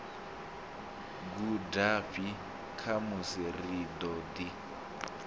gudafhi khamusi ri ḓo ḓi